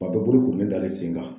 Tuma bɛɛ bolo kurulen dalen sen kan,